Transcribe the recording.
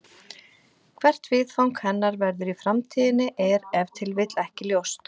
Hvert viðfang hennar verður í framtíðinni er ef til vill ekki ljóst.